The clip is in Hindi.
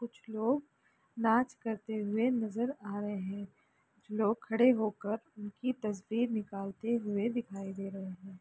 कुछ लोग नाच करते हुए नजर आ रहे लोग खड़े होकर उनकी तस्वीर निकालते हुए दिखाई दे रहे है।